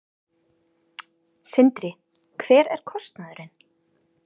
Sindri: Hver er kostnaðurinn?